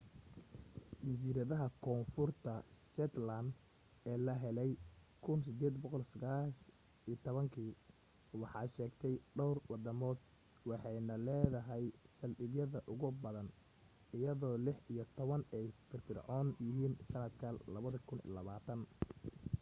jasiiradaha koonfurta shetland ee la helay 1819 waxaa sheegta dhowr wadamood waxayna leedahay saldhigyada ugu badan iyadoo lix iyo toban ay firfircoon yihiin sannadka 2020